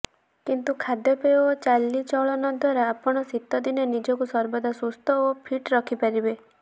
କିନ୍ତୁ ଖାଦ୍ୟପେୟ ଓ ଚାଲିଚଳନ ଦ୍ୱାରା ଆପଣ ଶୀତଦିନେ ନିଜକୁ ସର୍ବଦା ସୁସ୍ଥ ଓ ଫିଟ ରଖିପାରିବେ